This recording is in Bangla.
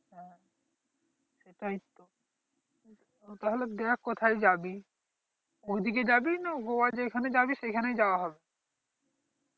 সেটাইতো তাহলে দেখ কোথায় যাবি ওই দিকে যাবি না গোয়া যেখানে যাবি সেখানেই যাওয়া হবে